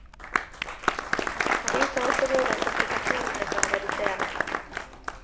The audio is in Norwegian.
Han viser også hvordan komplikasjonene kan reduseres.